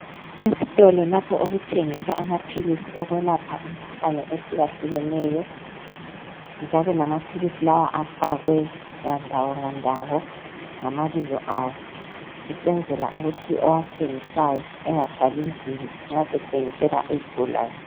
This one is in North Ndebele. Esitolo lapho okuthengiswa amaphilisi okwelapha imkhuhlane ehlukahlukeneyo njalo lamaphilisi lawa afakwe ngandawo ngandawo ngamabizo awo. Usenzela ukuthi owathengisayo engathwali nzima nxa sethengisela izigulane.